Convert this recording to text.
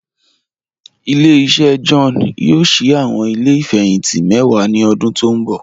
Ile-iṣẹ John yoo ṣii awọn ile ifẹhinti mẹ́wà ni ọ̀dún tó nbọ̀.